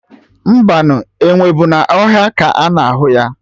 Mbanụ, enwe bụ na ọhịa ka ana ahụ ya